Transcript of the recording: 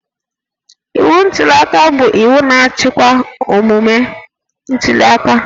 Iwu ntuliaka bụ iwu na-achịkwa omume ntuliaka